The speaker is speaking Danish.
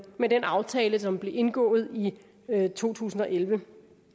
med den aftale som blev indgået i to tusind og elleve